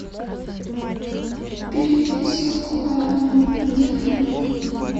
переведи сотку алене на телефон